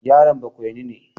Yaron bakwaini ne?